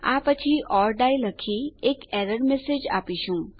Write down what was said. આ પછી or die લખી એક એરર મેસેજ આપીશું